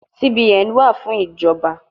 CBN wa fun ijọba